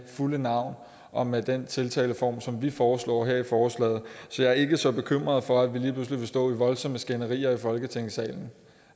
fulde navn og med den tiltaleform som vi foreslår her i forslaget så jeg er ikke så bekymret for at vi lige pludselig vil stå i voldsomme skænderier i folketingssalen